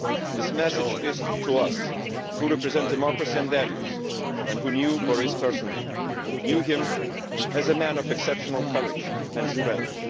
This message is for us who represent democracy and values and who knew Boris personally knew him as a man of exceptional courage and strength.